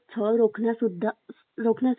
रोखण्यासाठी सुद्धा मदत करू शकतात